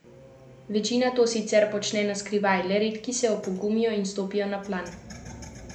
Večina to sicer počne na skrivaj, le redki se opogumijo in stopijo na plan.